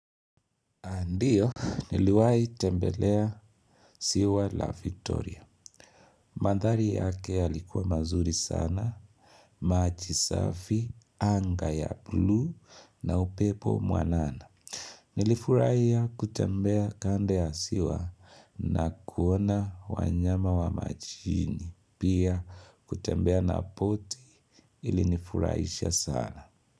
Ndiyo, niliwai tembelea siwa la victoria. Mandhari yake yalikuwa mazuri sana, maji safi, anga ya blue na upepo mwanana. Nilifuraiya kutembea kando ya siwa na kuona wanyama wa majini. Pia kutembea na boti ilinifuraisha sana.